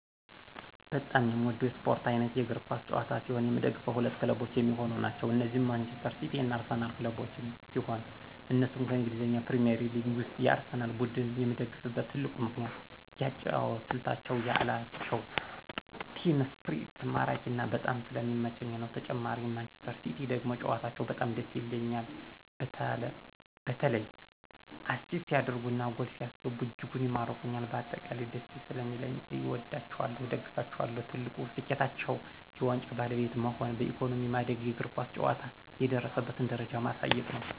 በጣም የምወደው የስፖርት አይነት የእግር ኳስ ጨዋታ ሲሆን የምደግፈው ሁለት ክለቦች የሚሆኑ ናቸው እነዚህም ማንጅስተር ሲቲ እና አርሲናል ክለቦችን ሲሆን እነሱም ከእንግሊዝ ፕሪሜርሊግ ውስጥ የአርሴናል ቡድን ነው የምደግፍበት ትልቁ ምክንያት የአጨዋወት ስልታቸው የአላቸው ቲም እስፕሪት ማራኪና በጣም ስለሚመቸኝ ነው ተጨማሪ ማንጅስተር ሲቲ ደግሞ ጨዋታቸው በጣም ደስ ይሉኞል በተላ አሲስት ሲደርጉ እና ጎል ሲያስገቡ እጅጉን ይማርኩኞል በአጠቃላይ ደስ ሰለሚለኝ አወዳቸዋለሁ እደግፋቸዋለሁም። ትልቁ ስኬታቸው የዋንጫ ባለቤት መሆን በኢኮኖሚ ማደግና የእግር ኳስ ጨዋታ የደረሰበትን ደረጃ ማሳየት ነው።